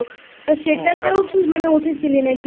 তা সেটাতেও কি উঠেছিলি নাকি?